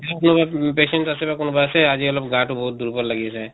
কোনোবা patient আছে বা কোনোবা আছে আজি অলপ গাটো বহুত দুৰ্বল লাগি আছে